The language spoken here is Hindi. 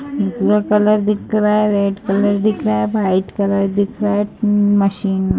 कलर दिख रहा है रेड कलर दिख रहा है व्हाइट कलर दिख रहा है उम मशीन --